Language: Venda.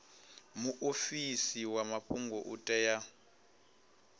muofisi wa mafhungo u tea